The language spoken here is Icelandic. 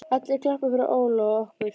allir klappa fyrir Óla og okkur.